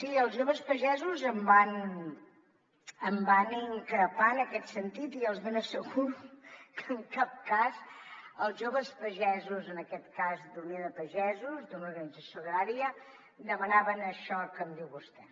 sí els joves pagesos em van increpar en aquest sentit i els ben asseguro que en cap cas els joves pagesos en aquest cas d’unió de pagesos d’una organització agrària demanaven això que em diu vostè